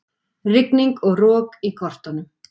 Rigning og rok í kortunum